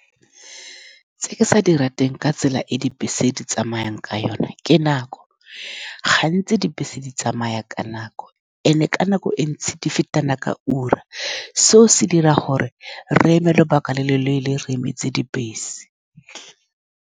Tse ke sa di rateng ka tsela e dibese di tsamayang ka yone ke nako. Gantsi dibese di tsamaya ka nako, and-e ka nako e ntsi di fetana ka ura. Seo se dira gore re eme lobaka le le leele re emetse dibese.